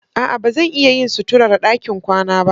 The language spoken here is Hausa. A'a, ba zan iya yin suturar ɗakin kwana ba.